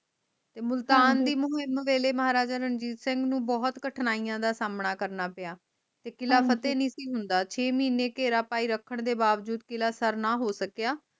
ਮੁਲਤਾਨ ਦੀ ਮਹਾਰਾਜ ਰਣਜੀਤ ਸਿੰਘ ਨੂੰ ਕਠਨਾਈਆਂ ਦਾ ਸਾਮਣਾ ਕਰਨਾ ਪੀਯਾ ਤੇ ਕਿਲਾ ਫਤਿਹ ਨਹੀਂ ਸੀ ਹੁੰਦਾ ਛੇ ਮਹੀਨੇ ਘੇਰਾ ਪਾਈ ਰੱਖਣ ਤੋਂ ਬਾਵਜੂਦ ਕਿਲਾ ਸਰ ਨਾ ਹੋ ਸਕਿਆ